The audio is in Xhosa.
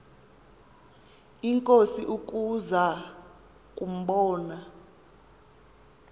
inkosi ukuza kumbona